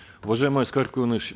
уважаемый аскар куаныш